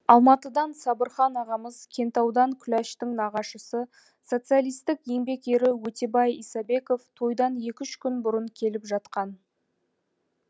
алматыдан сабырхан ағамыз кентаудан күләштің нағашысы социалитстік еңбек ері өтебай исабеков тойдан екі үш күн бұрын келіп жатқан